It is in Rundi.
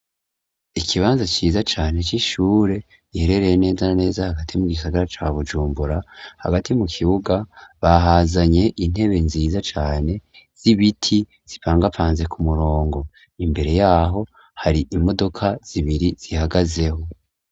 Ikibanza ciza cane c'ishure giherereye neza na neza hagati mu gisagara ca Bujumbura hagati mu kibuga bahazanye intebe nziza cane z'ibiti zipangapanze ku murongo imbere yaho hari imodoka zibiri zihagazeho.